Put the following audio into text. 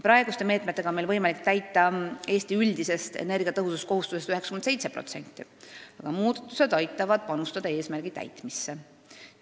Praeguste meetmetega on meil võimalik täita Eesti üldisest energiatõhususkohustusest 97%, need muudatused aitavad kaasa eesmärgi saavutamisele.